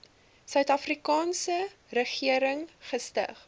suidafrikaanse regering gestig